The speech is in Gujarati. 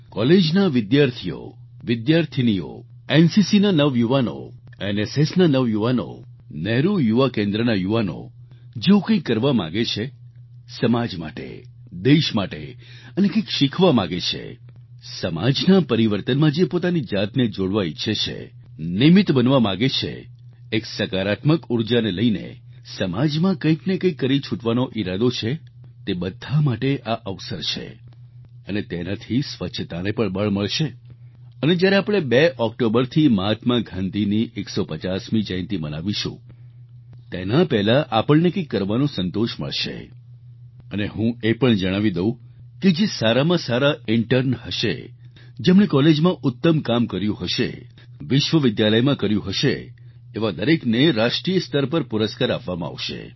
કોલેજના વિદ્યાર્થીઓવિદ્યાર્થીનીઓ એનસીસીના નવયુવાનો એનએસએસના નવયુવાનો નહેરુ યુવા કેન્દ્રના નવયુવાનો જેઓ કંઈક કરવા માગે છે સમાજ માટે દેશ માટે અને કંઈક શીખવા માગે છે સમાજના પરિવર્તનમાં જે પોતાની જાતને જોડવા ઈચ્છે છે નિમિત્ત બનવા માગે છે એક સકારાત્મક ઉર્જાને લઈને સમાજમાં કંઈક ને કંઈક કરી છૂટવાનો ઈરાદો છે તે બધા માટે આ અવસર છે અને તેનાથી સ્વચ્છતાને પણ બળ મળશે અને જ્યારે આપણે 2 ઓક્ટોબરથી મહાત્મા ગાંધીની 150મી જયંતિ મનાવશું તેના પહેલાં આપણે કંઈક કરવાનો સંતોષ મળશે અને હું એ પણ જણાવી દઉં કે જે સારામાં સારા ઈન્ટર્ન હશે જેમણે કોલેજમાં ઉત્તમ કામ કર્યું હશે વિશ્વવિદ્યાલયમાં કર્યું હશે એવા દરેકને રાષ્ટ્રીય સ્તર પર પુરસ્કાર આપવામાં આવશે